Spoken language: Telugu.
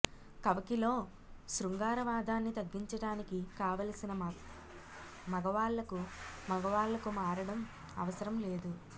కవకిలో శృంగారవాదాన్ని తగ్గించటానికి కావలసిన మగవాళ్ళకు మగవాళ్ళకు మారడం అవసరం లేదు